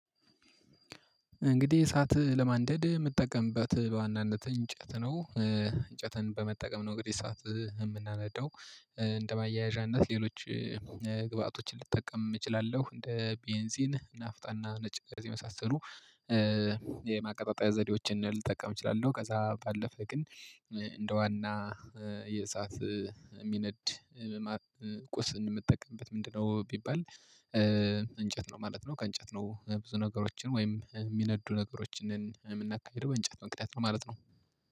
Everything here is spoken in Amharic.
እንግዲህ እሳት ለማንደድ እምጠቀምበት በዋናነት እንጨት ነው። እንጨትን በመጠቀም ነው እንግዲህ እሳት እምናነዳው። እንደ ማያያዣነት ሌሎች ግብአቶችን ልጠቀም እችላለሁ እንደ ቤንሲን ናፍጣና ነጭ ጋዝ የመሳሰሉ የማቀጣጣያ ዘዴዎችን ልጠቀም እችላለሁ። ከዛ ባለፈ ግን እንደ ዋና የእሳት እሚነድ ቁስን እምጠቀምበት ምንድን ነው ቢባል እንጨት ነው ማለት ነው? ከእንጨት ነው ብዙ ነገሮችን ወይም እሚነዱ ነገሮችን የምናካሂደው በእንጨት ማቀጣጠያ ነው ማለት ነው